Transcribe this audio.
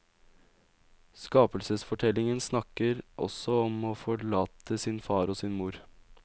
Skapelsesfortellingen snakker også om å forlate sin far og sin mor.